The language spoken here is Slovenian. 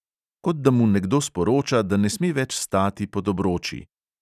Kot da mu nekdo sporoča, da ne sme več stati pod obroči!